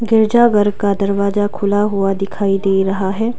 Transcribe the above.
गिरजाघर का दरवाजा खुला हुआ दिखाई दे रहा है।